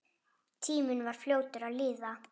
Tíminn var fljótur að líða.